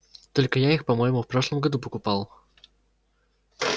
только я их по-моему в прошлом году покупал